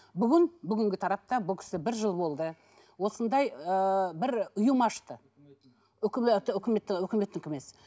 бүгін бүгінгі тарапта бұл кісі бір жыл болды осындай ыыы бір ұйым ашты үкіметтікі емес